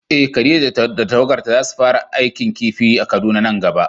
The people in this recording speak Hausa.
Eh Khadija da tawagarta zasu fara aikin kifi a Kaduna nan gaba.